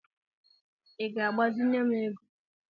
I ga-agbazinye m ego?